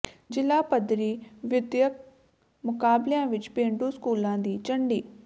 ਜ਼ਿਲ੍ਹਾ ਪੱਧਰੀ ਵਿੱਦਿਅਕ ਮੁਕਾਬਲਿਆਂ ਵਿੱਚ ਪੇਂਡੂ ਸਕੂਲਾਂ ਦੀ ਝੰਡੀ